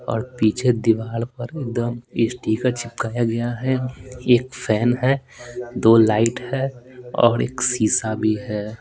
और पीछे दीवार पर एकदम स्टीकर चिपकाया गया है एक फैन है दो लाइट है और एक शीशा भी है।